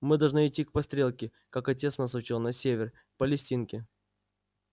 мы должны идти по стрелке как отец нас учил на север к палестинке